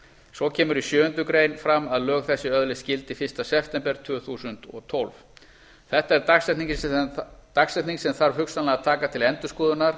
svo kemur fram í sjöundu grein að lög þessi öðlist gildi fyrsta september tvö þúsund og tólf þetta er dagsetning sem þarf hugsanlega að taka til endurskoðunar